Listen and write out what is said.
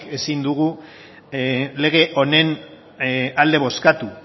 ezin dugu lege honen alde bozkatu